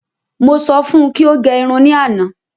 Mọ sọ fún kí o gẹ irun ní àna